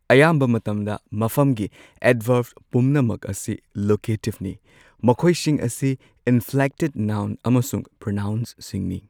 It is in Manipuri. ꯑꯌꯥꯝꯕ ꯃꯇꯝꯗ ꯃꯐꯝꯒꯤ ꯑꯦꯗꯚꯥꯔꯕ ꯄꯨꯝꯅꯃꯛ ꯑꯁꯤ ꯂꯣꯀꯦꯇꯤꯕ ꯅꯤ ꯃꯈꯣꯏꯁꯤꯡ ꯑꯁꯤ ꯏꯟꯐ꯭ꯂꯦꯛꯇꯦꯗ ꯅꯥꯎꯟ ꯑꯃꯁꯨꯡ ꯄ꯭ꯔꯣꯅꯥꯎꯟꯁꯤꯡꯅꯤ꯫